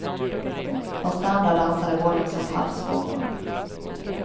Hos de andra dansade bollen som på havsvågor.